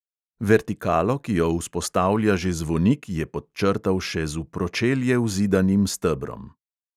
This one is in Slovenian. Vertikalo, ki jo vzpostavlja že zvonik, je podčrtal še z v pročelje vzidanim stebrom.